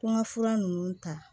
Ko n ka fura ninnu ta